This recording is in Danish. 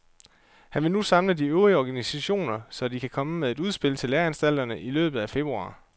Han vil nu samle de øvrige organisationer, så de kan komme med et udspil til læreanstalterne i løbet af februar.